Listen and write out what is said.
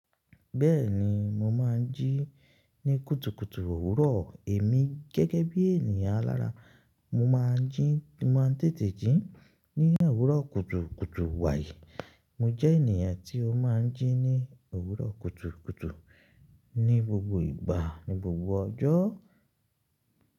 Bẹ́ẹ̀ni mo máa ń jí ní kutukutu òwúrọ̀ èmi gẹ́gẹ́ bí ènìyàn alára. Mo máa ń jí, mo máa ń tètè jí ní òwúrọ̀ kutukutu wàyì. Mo jẹ́ ènìyàn tí ó máa ń jí ní òwúrọ̀ kutukutu ní gbogbo ìgbà, ní gbogbo ọjọ́.